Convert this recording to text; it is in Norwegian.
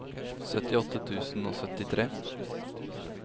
syttiåtte tusen og syttitre